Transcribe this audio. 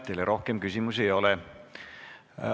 Teile rohkem küsimusi ei ole.